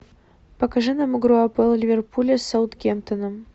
покажи нам игру апл ливерпуля с саутгемптоном